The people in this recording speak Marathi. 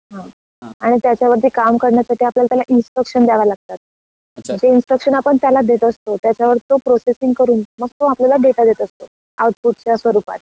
हम्म आणि त्याच्यावरती काम करण्यासाठी आपल्याला त्याला इंस्ट्रक्शन द्यावे लागतात. जे इंस्ट्रक्शन आपन त्याला देत असतो त्याच्यावर तो प्रोसेसिंग करून मग तो आपल्याला डेटा देत असतो आउटपुट च्या स्वरूपात.